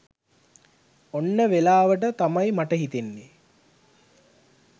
ඔන්න වෙලාවට තමයි මට හිතන්නේ